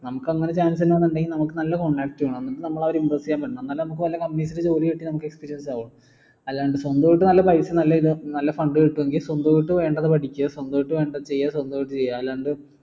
നമുക്ക് അങ്ങനെ chance ഇണ്ടാവണെങ്കിൽ നമുക്ക് നല്ല contact വേണം എന്നിട്ട് നമ്മൾ അവരെ impress ചെയ്യാൻ പറ്റണം എന്നാലേ നമുക്ക് വല്ല company സിൽ ജോലി കിട്ടി നമുക്ക് experience ആവൂ അല്ലാണ്ട് സ്വന്തായിട്ട് നല്ല പൈസയും നല്ല ഇതും നല്ല fund കിട്ടും എങ്കിൽ സ്വന്തമായിട്ട് വേണ്ടത് പഠിക്കാ സ്വന്തമായിട്ട് വേണ്ടത് ചെയ്യാം സ്വന്തമായിട്ട് ചെയ്യാ അല്ലാണ്ട്